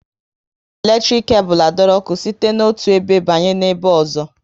E ji eletrik kebul adoro ọkụ site na otu ebe banye n'ebe ozo